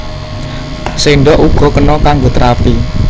Séndhok uga kena kanggo terapi